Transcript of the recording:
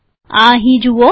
આ અહીં જુઓ